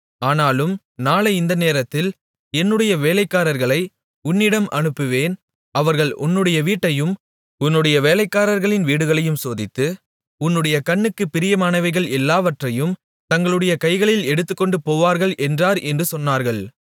ஆனாலும் நாளை இந்த நேரத்தில் என்னுடைய வேலைக்காரர்களை உன்னிடம் அனுப்புவேன் அவர்கள் உன்னுடைய வீட்டையும் உன்னுடைய வேலைக்காரர்களின் வீடுகளையும் சோதித்து உன்னுடைய கண்ணுக்குப் பிரியமானவைகள் எல்லாவற்றையும் தங்களுடைய கைகளில் எடுத்துக்கொண்டு போவார்கள் என்றார் என்று சொன்னார்கள்